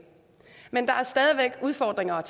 men der er stadig væk udfordringer